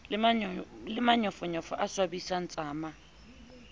le manyofonyofo a swabisang tsama